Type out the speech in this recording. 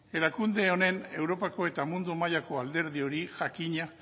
erakunde honen europako eta mundu mailako alderdi hori jakina